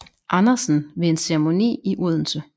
Andersen ved en ceremoni i Odense